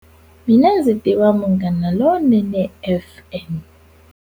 Mina ndzi tiva Munghana Lonene F_M.